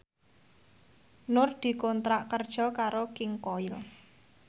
Nur dikontrak kerja karo King Koil